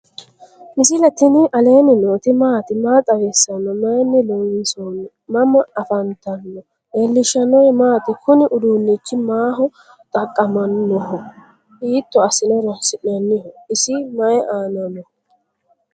misile tini alenni nooti maati? maa xawissanno? Maayinni loonisoonni? mama affanttanno? leelishanori maati? kuni uudunichi maho xaqamano? hito asine horonsi'naniho? isi mayi aana noho?